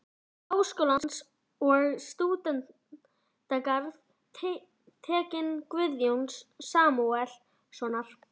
Háskólans og um stúdentagarð-Teikning Guðjóns Samúelssonar